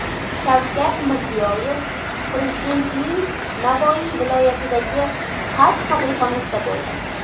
Shavkat Mirziyoyev Prezidentning Navoiy viloyatidagi Xalq qabulxonasida bo‘ldi.